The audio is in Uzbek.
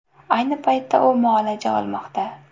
Ayni paytda u muolaja olmoqda.